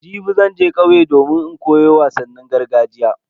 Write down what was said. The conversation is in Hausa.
Jibi zan je kauye don in koyo wasannin gargajiya.